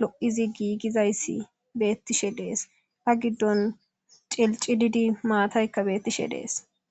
lo'izi giigizayssi beettishe dees a giddon cilci didi maataykka beettishe dees